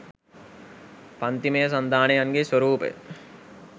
පංතිමය සන්ධානයන්ගේ ස්වරූපය